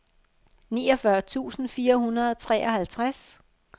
niogfyrre tusind fire hundrede og treoghalvtreds